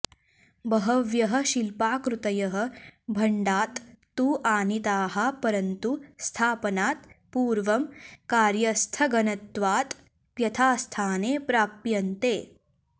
बहव्यः शिल्पाकृतयः भण्डात् तु आनिताः परन्तु स्थापनात् पूर्वं कार्यस्थगनत्वात् यथास्थाने प्राप्यन्ते